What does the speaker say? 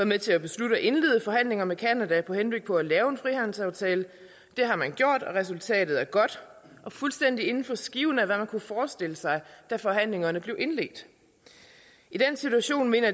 med til at beslutte at indlede forhandlinger med canada med henblik på at lave en frihandelsaftale det har man gjort og resultatet er godt og fuldstændig inden for skiven af hvad man kunne forestille sig da forhandlingerne blev indledt i den situation mener